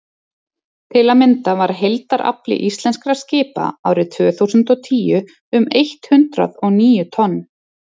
til að mynda var heildarafli íslenskra skipa árið tvö þúsund og og tíu um eitt hundruð og níu tonn